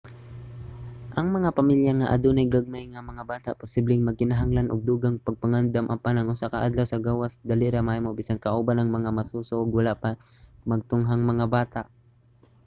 ang mga pamilya nga adunay gagmay nga mga bata posibleng magkinahanglan og dugang pagpangandam apan ang usa ka adlaw sa gawas dali ra mahimo bisan kauban ang mga masuso ug wala pa magtunghang mga bata